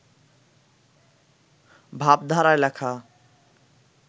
ভাবধারায় লেখা